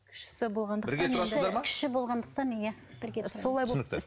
кіші кіші болғандықтан иә бірге тұрады түсінікті